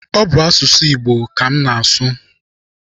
Ọ bụ asụsụ Igbo ka m na-asụ.